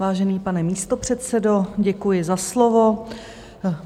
Vážený pane místopředsedo, děkuji za slovo.